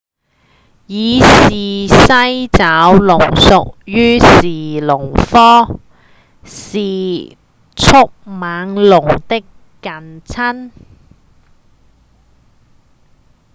伊氏西爪龍屬於馳龍科是迅猛龍的近親